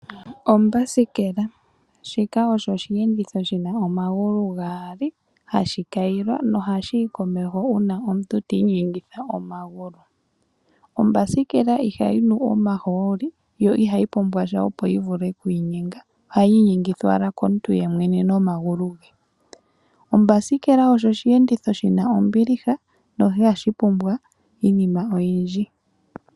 Ombasikela Shika osho osheenditho shi na omagulu gaali hashi kayilwa nohashi yi komeho uuna omuntu ti inyengitha omagulu. Ombasikela ihayi nu omahooli, yo ihayi pumbwa sha opo yi vule okuinyenga. Ohayi inyengithwa owala komuntu ye mwene nomagulu ge. Ombasikela oyo osheenditho shi na ombiliha no ihashi pumbwa iinima oyindji.